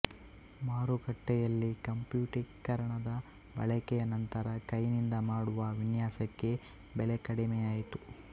ಮಾರುಕಟ್ಟೆಯಲ್ಲಿ ಕಂಪ್ಯೂಟಿಕರಣದ ಬಳಕೆಯ ನಂತರ ಕೈನಿಂದ ಮಾಡುವ ವಿನ್ಯಾಸಕ್ಕೆ ಬೆಲೆಕಡಿಮೆಯಾಯಿತು